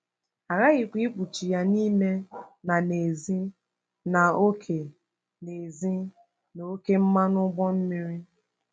A ghaghịkwa ikpuchi ya n’ime na n’èzí na oké n’èzí na oké mmanụ ụgbọ mmiri.